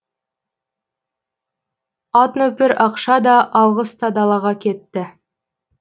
атнөпір ақша да алғыс та далаға кетті